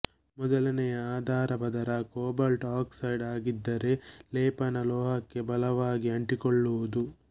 ಮೊದಲನೆಯ ಆಧಾರ ಪದರ ಕೋಬಾಲ್ಟ್ ಆಕ್ಸೈಡ್ ಆಗಿದ್ದರೆ ಲೇಪನ ಲೋಹಕ್ಕೆ ಬಲವಾಗಿ ಅಂಟಿಕೊಳ್ಳುವುದು